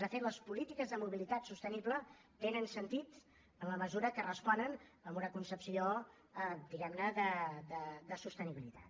de fet les polítiques de mobilitat sostenible tenen sentit en la mesura que responen a una concepció diguem ne de sostenibilitat